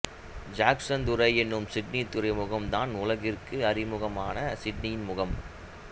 Jackson துறை எனும் Sydney துறைமுகம் தான் உலகிற்கு அறிமுகமான சிட்னியின் முகம்